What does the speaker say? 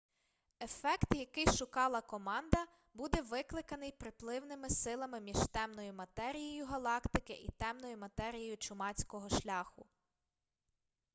ефект який шукала команда буде викликаний приливними силами між темною матерією галактики й темною матерією чумацького шляху